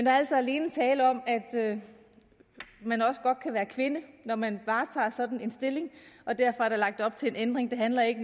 er altså alene tale om at man også godt kan være kvinde når man varetager sådan en stilling og derfor er der lagt op til en ændring det handler ikke